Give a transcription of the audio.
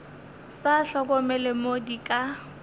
sa hlokomele mo di ka